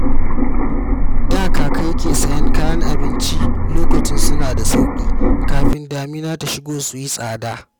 Da kaka yake sayen kayan abinci lokacin suna da sauƙi kafin damina ta shigo su yi tsada